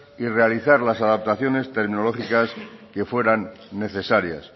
y realizar las adaptaciones terminológicas que fueran necesarias